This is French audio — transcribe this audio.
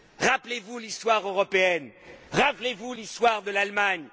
Rappelez vous l'histoire européenne. Rappelez vous l'histoire de l'Allemagne.